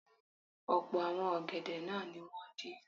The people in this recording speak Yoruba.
Ọ̀pọ̀ àwọn ọ̀gẹ̀dẹ̀ náà ni wọ́n dín.